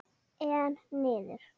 Einn niður!